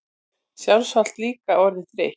Sjálfsagt líka orðin þreytt.